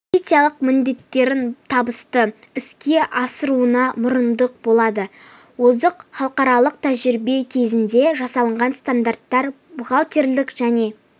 стратегиялық міндеттерін табысты іске асыруына мұрындық болады озық халықаралық тәжірибе негізінде жасалған стандарттар бухгалтерлік және